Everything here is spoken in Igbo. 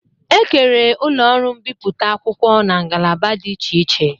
E kere ụlọ ọrụ mbiputa akwụkwọ n'ngalaba dị iche iche